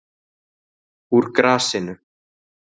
Úr grasinu